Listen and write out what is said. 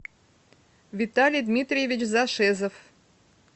виталий дмитриевич зашезов